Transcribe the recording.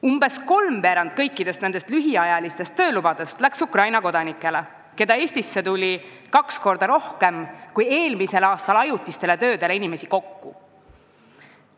Umbes kolmveerand lühiajalistest töölubadest läks Ukraina kodanikele, keda eelmisel aastal tuli Eestisse kaks korda rohkem kui inimesi ajutistele töödele kokku.